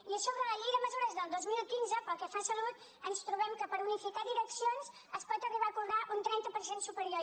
i a so·bre la llei de mesures del dos mil quinze pel que fa a salut ens trobem que per unificar direccions es pot arribar a co·brar un trenta per cent superior